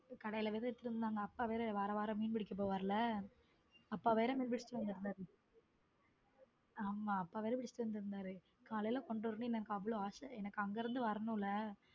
கடையில வேற எடுத்துட்டு வந்து இருந்தாங்க அப்பா வேற வாரம் வாரம் மீன் பிடிக்கப் போவாருல அப்பா வேற மீன் புடிச்சிட்டு வந்திருந்தார ஆமா அப்பா வேற புடிச்சுட்டு வந்து இருந்தாரு காலையில கொண்டு வரும் போது எனக்கு அவ்வளவு ஆசை அங்கே இருந்து வரணும்ல.